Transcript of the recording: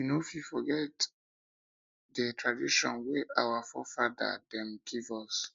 we no fit forget di fit forget di tradition wey our forefada dem give us